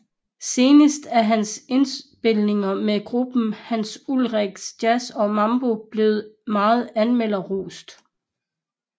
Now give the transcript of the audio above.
Senest er hans indspilninger med gruppen Hans Ulrik Jazz and Mambo blevet meget anmelderrost